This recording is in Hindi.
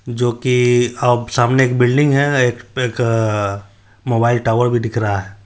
जो की अब सामने एक बिल्डिंग है| एक मोबाईल टॉवर भी दिख रहा है।